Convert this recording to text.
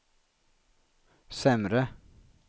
sämre